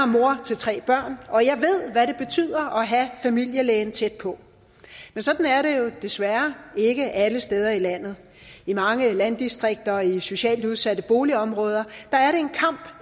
mor til tre børn og jeg ved hvad det betyder at have familielægen tæt på men sådan er det jo desværre ikke alle steder i landet i mange landdistrikter og i socialt udsatte boligområder